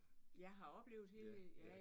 Ja har oplevet